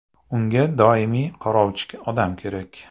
Unga doimiy qarovchi odam kerak.